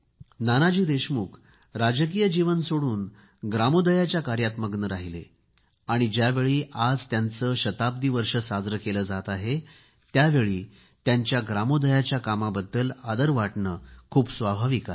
नानाजी देशमुख राजकीय जीवन सोडून ग्रामोदयच्या कार्यात मग्न राहिले आणि ज्यावेळी आज त्यांचे शताब्दी वर्ष साजरे केले जात आहे त्यावेळी त्यांच्या ग्रामोदयाच्या कामाबद्दल आदर वाटणे खूप स्वाभाविक आहे